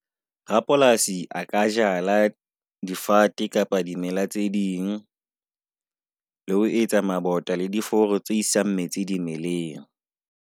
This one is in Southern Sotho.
Rapolasi a ka jala difate kapa dimela tse ding. Le ho etsa mabota le diforo tse isang metsi dimeleng.